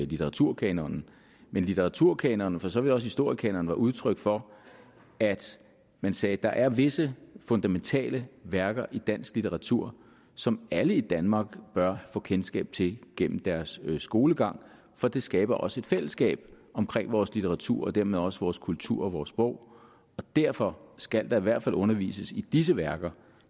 litteraturkanonen men litteraturkanonen og for så vidt også historiekanonen var udtryk for at man sagde at der er visse fundamentale værker i dansk litteratur som alle i danmark bør få kendskab til gennem deres skolegang for det skaber også et fællesskab omkring vores litteratur og dermed også vores kultur og vores sprog og derfor skal der i hvert fald undervises i disse værker